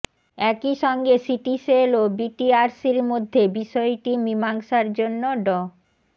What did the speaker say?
একই সঙ্গে সিটিসেল ও বিটিআরসির মধ্যে বিষয়টি মীমাংসার জন্য ড